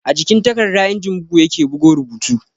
A jikin takarda injin bugu ya ke bugo rubutu